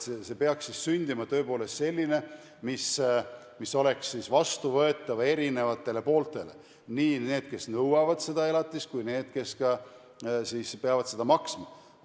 See peaks siis sündima tõepoolest selline, mis oleks vastuvõetav eri pooltele – nii nendele, kes nõuavad seda elatist, kui ka nendele, kes peavad seda maksma.